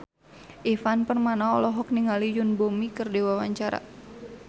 Ivan Permana olohok ningali Yoon Bomi keur diwawancara